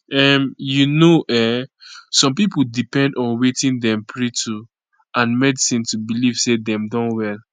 um you know[um]some pipo depend on wetin dem pray to and medicine to belief say dem don well